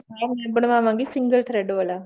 ਹਾਂ ਮੈਂ ਬਣਵਾਵਾਂਗੀ single thread ਵਾਲਾ